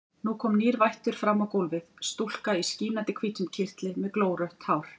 Nú kom nýr vættur fram á gólfið, stúlka í skínandi hvítum kyrtli með glórautt hár.